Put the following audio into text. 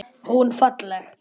Hún falleg.